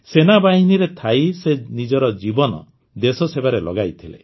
ସେନାବାହିନୀରେ ଥାଇ ସେ ନିଜର ଜୀବନ ଦେଶସେବାରେ ଲଗାଇଥିଲେ